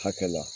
Hakɛ la